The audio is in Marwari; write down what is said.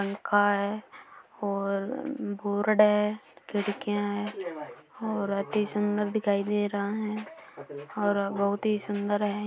आ का है और बोर्ड है खिड़कियाँ है और अति सूंदर दिखाई दे रहा है और बहुत ही सूंदर है।